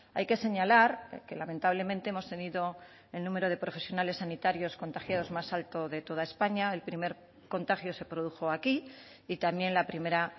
hay que señalar que lamentablemente hemos tenido el número de profesionales sanitarios contagiados más alto de toda españa el primer contagio se produjo aquí y también la primera